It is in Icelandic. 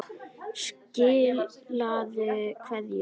Skilaðu kveðju.